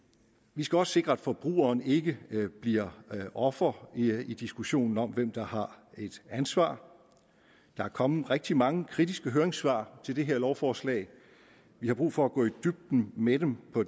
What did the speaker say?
vi skal også sikre at forbrugerne ikke bliver ofre i diskussionen om hvem der har et ansvar der er kommet rigtig mange kritiske høringssvar til det her lovforslag vi har brug for at gå i dybden med dem på